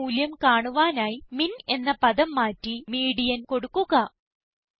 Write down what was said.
median മൂല്യം കാണുവാനായി MINഎന്ന പദം മാറ്റി മീഡിയൻ കൊടുക്കുക